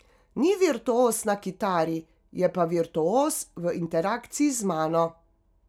Ni virtuoz na kitari, je pa virtuoz v interakciji z mano.